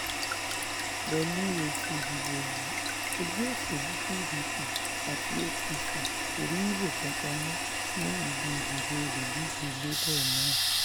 pẹ̀lú èsì ìdìbò yìí ẹgbẹ́ òsèlú pdp àti apc kò rí ìbò kankan mú ní ibi ìdìbò olùdíje labour náà